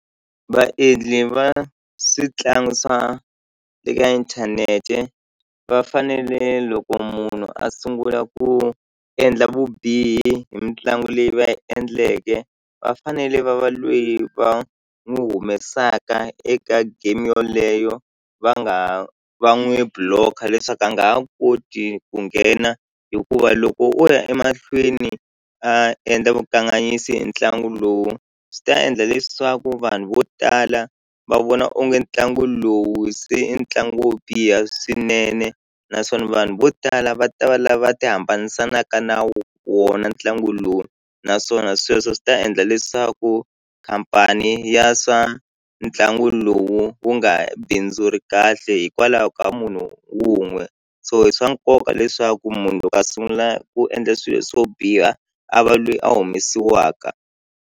Vaendli va switlangi swa eka inthanete va fanele loko munhu a sungula ku endla vubihi hi mitlangu leyi va yi endleke va fanele va va lweyi va n'wu humesaka eka game yoleyo va nga va ha va n'wu block-a leswaku a nga ha koti ku nghena hikuva loko o ya emahlweni a endla vukanganyisi hi ntlangu lowu swi ta endla leswaku vanhu vo tala va vona onge ntlangu lowu se i ntlangu wo biha swinene naswona vanhu vo tala va ta va lava ti hambanisanaka na wona ntlangu lowu naswona sweswo swi ta endla leswaku khampani ya swa ntlangu lowu wu nga bindzuri kahle hikwalaho ka munhu wun'we so i swa nkoka leswaku munhu loko a sungula ku endla swilo swo biha a va lweyi a humesiwaka.